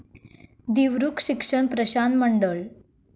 दिवरुख शिक्षण प्रश्रान मंडळ